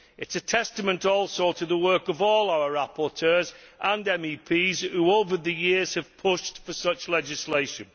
It is a testament also to the work of all our rapporteurs and MEPs who, over the years, have pushed for such legislation.